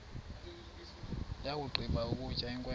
yakugqiba ukutya inkwenkwe